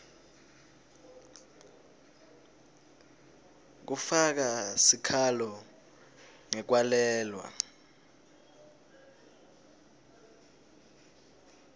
kufaka sikhalo ngekwalelwa